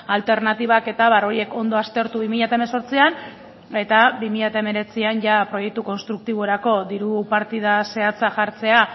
alternatibak eta abar horiek ondo aztertu bi mila hemezortzian eta bi mila hemeretzian jada proiektu konstruktiborako diru partida zehatza jartzea